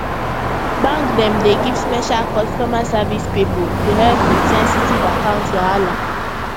bank dem dey give special customer service pipo to help with sensitive account wahala